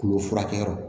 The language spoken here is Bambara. Tulo furakɛyɔrɔ